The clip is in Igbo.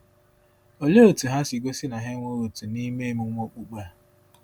Olee otú ha si gosi na ha enweghị òtù n’ime emume okpukpe a?